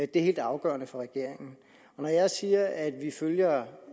det er helt afgørende for regeringen når jeg siger at vi følger